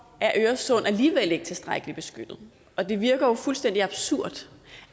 øresund alligevel ikke tilstrækkeligt beskyttet og det virker jo fuldstændig absurd